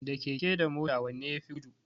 Da keke da mota wanne yafi gudu?